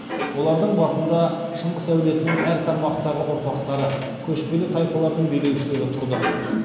олардың басында шыңғыс әулетінің әр тармақтағы ұрпақтары көшпелі тайпалардың билеушілері тұрды